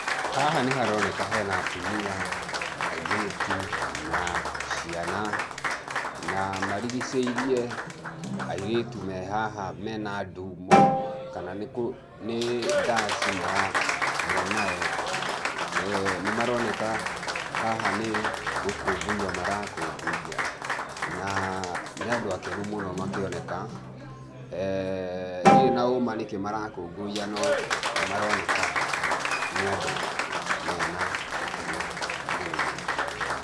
Haha nĩ haroneka he na atumia, airĩtu, na ciana, na marigicĩirie airĩtu me haha me na nduumo kana nĩ ndaci me nayo. Nĩ maroneka haha nĩ gũkũngũiya marakũngũiya na, nĩ andũ akenu mũno makĩoneka, ndirĩ na ũũma nĩ kĩĩ marakũngũiya no nĩ maroneka nĩ andũ me na gĩkeno mũno mũno.